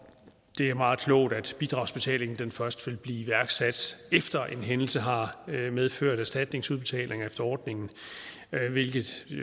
det er meget klogt at bidragsbetalingen først vil blive iværksat efter at en hændelse har medført erstatningsudbetaling efter ordningen hvilket